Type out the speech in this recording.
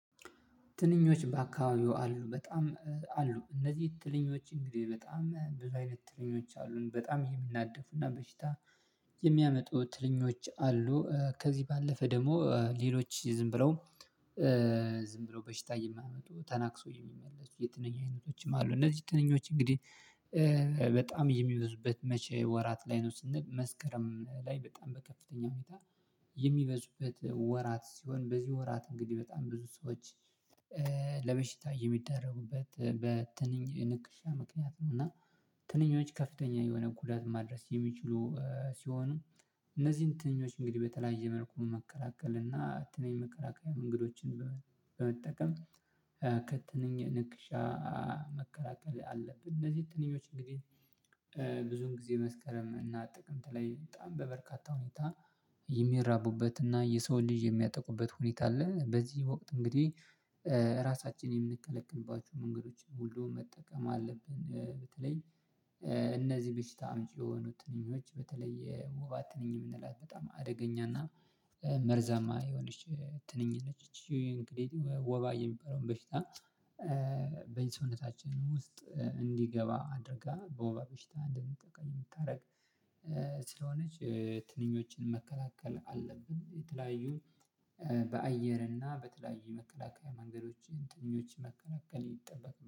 ትንኞች በአካባቢው አሉ በጣም አሉ እነዚህ ትንኞች እንግዲህ በጣም ብዙ አይነት ትንኞች አሉን በጣም የሚናደፉና በሽታ የሚያመጡ ትልኞች አሉ። ከዚህ ባለፈ ደግሞ ሌሎች ዝም ብለው ዝም ብለው በሽታ የማያመጡ ተናክሶ የሚመለሱ የትነኝ አይነቶችም አሉ። እነዚህ ትንኞች እንግዲህ በጣም የሚበዙበት መቼ ወራት ላይ ነው ስንል መስከረም ላይ በጣም በከፍተኛ ሁኔታ የሚበዙበት ወራት ሲሆን በዚህ ወራት እንግዲህ በጣም ብዙ ሰዎች ለበሽታ የሚደረጉበት በትንኝ ንክሻ ምክንያት ነው። እና ትንኞች ከፍተኛ የሆነ ጉዳት ማድረስ የሚችሉ ሲሆኑ እነዚህን ትንኞች እንግዲህ በተለያየ መልኩ መከላከል እና ትንንሽ መከላከያ መንገዶችን በመጠቀም ከትንኝ ንክሻ መከላከል አለብን። እነዚህ ትንኞች እንግዲህ ብዙን ጊዜ መስከረም እና ጥቅምት ላይ በጣም በበርካታ ሁኔታ የሚራቡበት እና የሰው ልጅ የሚያጠቁበት ሁኔታ አለ። በዚህ ወቅት እንግዲህ የምንከለከልባችውን መንገዶች ሁሉ መጠቀም አለብን። በተለይ እነዚህ በሽታ አምጭ የሆኑ ትንኞች በተለይ ውባ ትንኝ የምንላት በጣም አደገኛና መርዛማ የሆነች ትንኝ ነች። ወባ የሚባለውን በሽታ በዚህ ሰውነታችን ውስጥ እንዲገባ አድርጋ በወባ በሽታ እንድንጠቃ የምታደርግ ስለሆነች ትንኞችን መከላከል አለብን። የተለያዩ በአየር እና በተለያዩ መከላከያ መንገዶችን ትንኞችን መከላከል ይጠበቅብናል